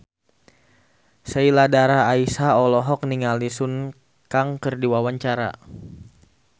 Sheila Dara Aisha olohok ningali Sun Kang keur diwawancara